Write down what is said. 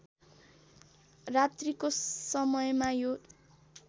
रात्रिको समयमा यो